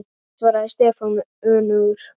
Nei svaraði Stefán önugur.